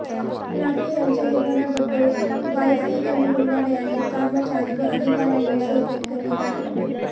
लाखे यांच्या निधनाबद्दल वायसीएम रुग्णालयातील कर्मचारी व अधिकाऱ्यांनी शोक व्यक्त केला आहे